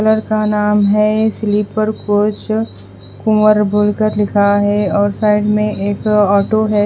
colour का नाम है स्लीपर कोच कुंवर बोलकर लिखा है और साइड में एक ऑटो है --